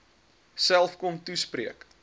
self kom toespreek